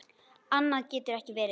Annað getur ekki verið.